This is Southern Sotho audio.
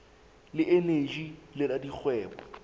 le eneji le la dikgwebo